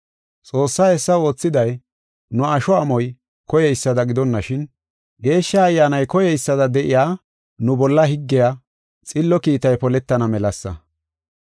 Xoossay hessa oothiday, nu asho amoy koyeysada gidonashin, Geeshsha Ayyaanay koyeysada de7iya nu bolla higgiya xillo kiitay poletana melasa.